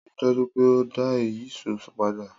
Rii daju pe o da ìyíṣòó pada!